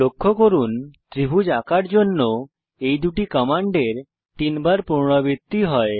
লক্ষ্য করুন ত্রিভুজ আঁকার জন্য এই দুটি কমান্ডের তিনবার পুনরাবৃত্তি হয়